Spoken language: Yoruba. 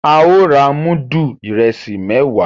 Ao rà mudu Ìrẹsí mẹwa